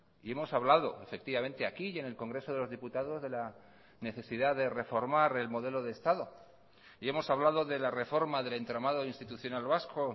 y hemos hablado efectivamente aquí y en el congreso de los diputados de la necesidad de reformar el modelo de estado y hemos hablado de la reforma del entramado institucional vasco